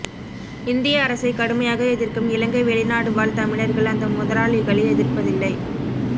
இந்திய அரசை கடுமையாக எதிர்க்கும் இலங்கை வெளிநாடுவாழ் தமிழர்கள் அந்த முதலாளிகளை எதிர்ப்பதில்லை